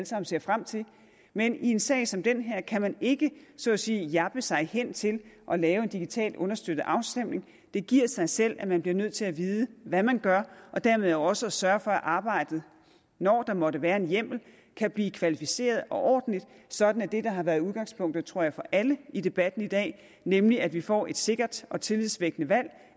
sammen ser frem til men i en sag som den her kan man ikke så at sige jabbe sig hen til at lave en digitalt understøttet afstemning det giver sig selv at man bliver nødt til at vide hvad man gør og dermed også sørge for at arbejdet når der måtte være en hjemmel kan blive kvalificeret og ordentligt sådan at det der har været udgangspunktet tror jeg for alle i debatten i dag nemlig at vi får et sikkert og tillidsvækkende valg